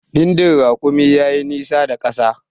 Bindin rakumi ya yi nisa da ƙasa